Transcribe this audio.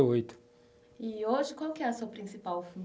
E hoje qual é a sua principal